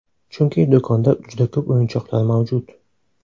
Chunki, do‘konda juda ko‘p o‘yinchoqlar mavjud.